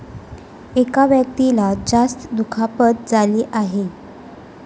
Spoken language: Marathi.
एका व्यक्तीला जास्त दुखापत झाली आहे.